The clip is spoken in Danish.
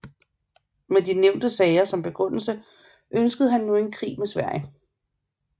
Med de nævnte sager som begrundelse ønskede han nu en krig med Sverige